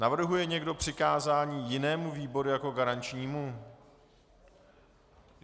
Navrhuje někdo přikázání jinému výboru jako garančnímu?